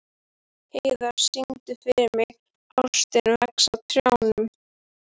Rósinkransa, opnaðu dagatalið mitt.